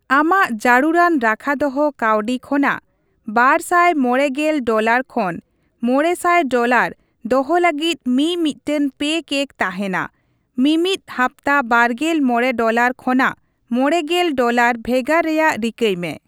ᱟᱢᱟᱜ ᱡᱟᱹᱨᱩᱲᱟᱱ ᱨᱟᱠᱷᱟ ᱫᱚᱦᱚ ᱠᱟᱹᱣᱰᱤ ᱠᱷᱚᱱᱟᱜ ᱵᱟᱨᱥᱟᱭ ᱢᱚᱬᱮ ᱜᱮᱞ ᱰᱚᱞᱟᱨ ᱠᱷᱚᱱ ᱕᱐᱐ ᱰᱚᱞᱟᱨ ᱫᱚᱦᱚ ᱞᱟᱹᱜᱤᱫ ᱢᱤᱼᱢᱤᱫᱴᱟᱝ ᱯᱮᱠᱮᱠ ᱛᱟᱦᱮᱱᱟ, ᱢᱤᱼᱢᱤᱫ ᱦᱟᱯᱛᱟ ᱵᱟᱨᱜᱮᱞ ᱢᱚᱬᱮ ᱰᱚᱞᱟᱨ ᱠᱷᱚᱱᱟᱜ ᱢᱚᱲᱮ ᱜᱮᱞ ᱰᱚᱞᱟᱨ ᱵᱷᱮᱜᱟᱨ ᱨᱮᱭᱟᱜ ᱨᱤᱠᱟᱹᱭ ᱢᱮ ᱾